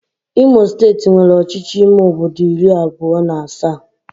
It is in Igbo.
Imo steeti nwere ọchịchị ime obodo iri abụọ na asaa